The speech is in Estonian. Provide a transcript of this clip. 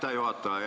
Aitäh, juhataja!